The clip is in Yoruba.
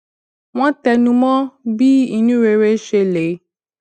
wón tẹnu mó bí inú rere ṣe lè